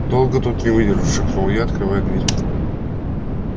долго тут не выдержу шепнул я открывая дверь